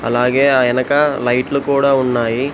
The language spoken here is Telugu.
అలాగే ఆయనక లైట్లు కూడా ఉన్నాయి.